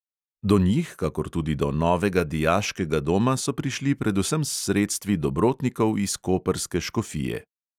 Do njih kakor tudi do novega dijaškega doma so prišli predvsem s sredstvi dobrotnikov iz koprske škofije.